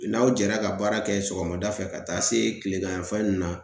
N'aw jɛra ka baara kɛ sɔgɔmada fɛ ka taa se kilegan yan fan na